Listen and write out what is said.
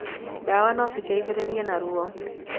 Ndawa no citeithĩrĩrie na ruo.